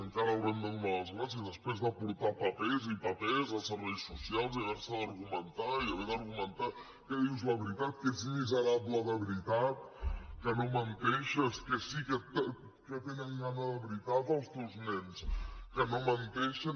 encara haurem de donar les gràcies després de portar papers i papers a serveis socials i haver se d’argumentar i haver d’argumentar que dius la veritat que ets miserable de veritat que no menteixes que sí que tenen gana de veritat els teus nens que no menteixen